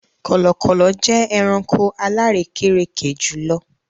Kọlọkọlọ jẹ ẹ̀ràṇkò alàrèkèrèkè jùlọ̀.